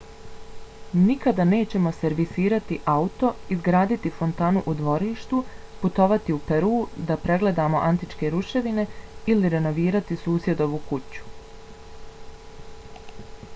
nikada nećemo servisirati auto izgraditi fontanu u dvorištu putovati u peru da pregledamo antičke ruševine ili renovirati susjedovu kuću